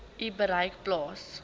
u bereik plaas